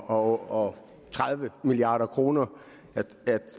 og tredive milliard kroner